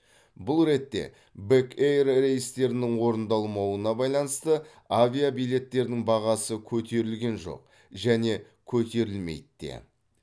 бұл ретте бек эйр рейстерінің орындалмауына байланысты авиабилеттердің бағасы көтерілген жоқ және көтерілмейді де